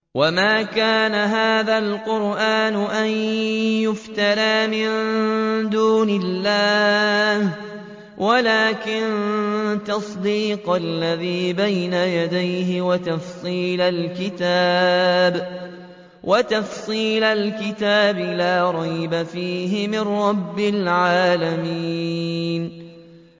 وَمَا كَانَ هَٰذَا الْقُرْآنُ أَن يُفْتَرَىٰ مِن دُونِ اللَّهِ وَلَٰكِن تَصْدِيقَ الَّذِي بَيْنَ يَدَيْهِ وَتَفْصِيلَ الْكِتَابِ لَا رَيْبَ فِيهِ مِن رَّبِّ الْعَالَمِينَ